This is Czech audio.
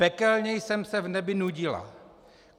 Pekelně jsem se v nebi nudila.